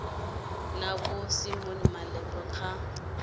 na vho simon malepeng kha